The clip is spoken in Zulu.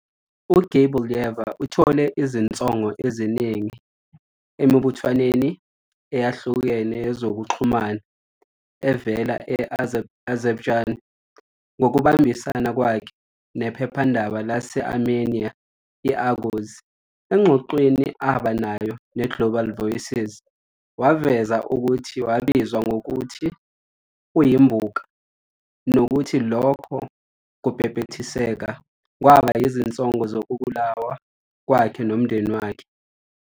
UGeybullayeva uthole izinsongo eziningi emibuthanweni eyahlukene yezokuxhumana evela e-Azerbaijan ngokubambisana kwakhe nephephandaba lase-Armenia i- "Agos."Engxoxweni abenayo neGlobal Voices, waveza ukuthi wabizwa ngokuthi "uyimbuka" nokuthi lokho kubhebhethekisa kwaba yizinsongo zokubulawa kwakhe nomndeni wakhe.